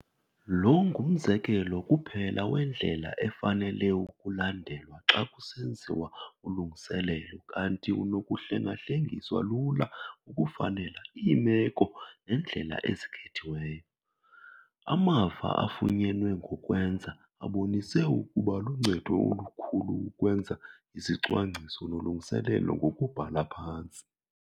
Lo ngumzekelo kuphela wendlela efanele ukulandelwa xa kusenziwa ulungiselelo kanti unokuhlengahlengiswa lula ukufanela iimeko nendlela ezikhethiweyo. Amava afunyenwe ngokwenza abonise ukuba luncedo olukhulu ukwenza izicwangciso nolungiselelo ngokubhala phantsi.